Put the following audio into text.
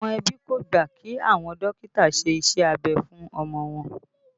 Àwọn ẹbí kò gbà kí àwọn dókítà ó ṣe iṣẹ́ abẹ fún ọmọ wọn